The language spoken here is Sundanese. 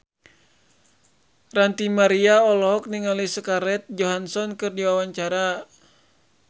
Ranty Maria olohok ningali Scarlett Johansson keur diwawancara